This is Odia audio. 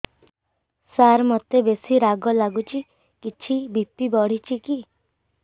ସାର ମୋତେ ବେସି ରାଗ ଲାଗୁଚି କିଛି ବି.ପି ବଢ଼ିଚି କି